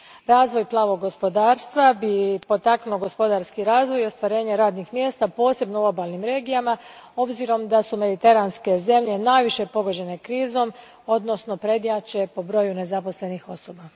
Razvoj plavog gospodarstva bi potaknuo gospodarski razvoj i ostvarenje radnih mjesta, posebno u obalnim regijama, s obzirom da su mediteranske zemlje najviše pogođene krizom, odnosno prednjače po broju nezaposlenih osoba.